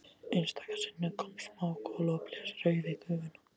Einstaka sinnum kom smá gola og blés rauf í gufuna.